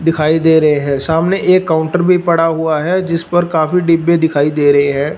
दिखाई दे रहे हैं सामने एक काउंटर भी पड़ा हुआ है जिस पर काफी डिब्बे दिखाई दे रहे है।